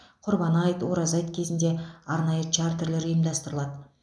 құрбан айт ораза айт кезінде арнайы чартерлер ұйымдастырылады